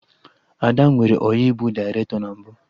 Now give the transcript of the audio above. Ada nwere ọyị bụ dairetọ na mbụ